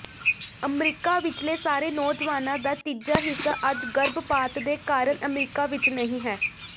America ਵਿਚਲੇ ਸਾਰੇ ਨੌਜਵਾਨਾਂ ਦਾ ਤੀਜਾ ਹਿੱਸਾ ਅੱਜ ਗਰਭਪਾਤ ਦੇ ਕਾਰਨ ਅਮਰੀਕਾ ਵਿਚ ਨਹੀਂ ਹੈ